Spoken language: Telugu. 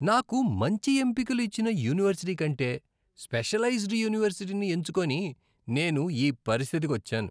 నాకు మంచి ఎంపికలు ఇచ్చిన యూనివర్సిటీ కంటే స్పెషలైజ్ద్ యూనివర్సిటీని ఎంచుకొని నేను ఈ పరిస్థితికొచ్చాను.